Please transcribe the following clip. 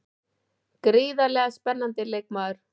Gríðarlega spennandi leikmaður.